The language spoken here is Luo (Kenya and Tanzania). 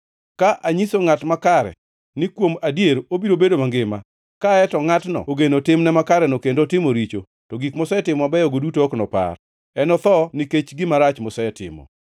Ka anyiso ngʼat makare ni kuom adier obiro bedo mangima, kaeto ngʼatno ogeno timne makareno kendo otimo richo, to gik mosetimo mabeyogo duto ok nopar. Enotho nikech gima rach mosetimo.